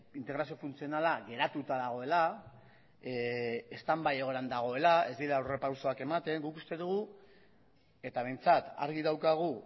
integrazio funtzionala geratuta dagoela stand by egoeran dagoela ez direla aurrerapausoak ematen guk uste dugu eta behintzat argi daukagu